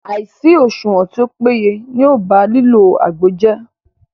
Àìsí òṣùwọ̀n tí o péye ní o bá lílo àgbo jẹ́.